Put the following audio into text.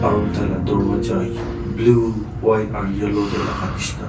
aro tai la dorwaja blue white aru yellow tae laka nishina.